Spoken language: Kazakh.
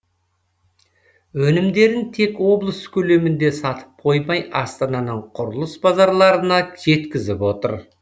өнімдерін тек облыс көлемінде сатып қоймай астананың құрылыс базарларына жеткізіп отыр